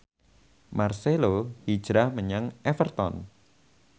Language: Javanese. marcelo hijrah menyang Everton